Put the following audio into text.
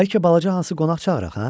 Bəlkə balaca Hansı qonaq çağıraq, hə?